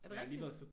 Er det rigtigt?